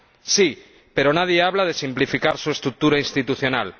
Sí, pero nadie habla de simplificar su estructura institucional.